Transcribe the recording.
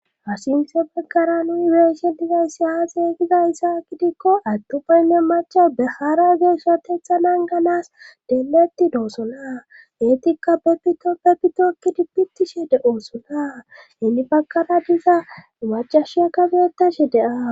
asinse paggara nu weesshe dizaysiya xeegiza issaa kidikko attu baynne macha behaara geeshsha teetha nan ganas deeletti doosona eetikka pepito pepitokkidi bittishe de7oosona hinni baggara diza macashia kabeetashe deaa